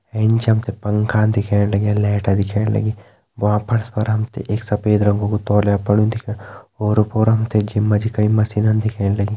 एंच हम ते पंखा दिखेण लग्यां लैट दिखेण लगीं भ्वाँ फर्स पर हम ते एक सफ़ेद रंगो कु तोल्या पड़्युं दिखे ओर पोर हम ते जिम मा जी कई मशीना दिखेण लगीं।